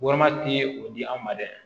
Warmati ye o di an ma dɛ